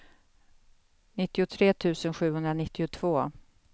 nittiotre tusen sjuhundranittiotvå